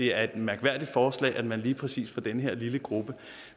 er et mærkværdigt forslag altså at man lige præcis for den her lille gruppe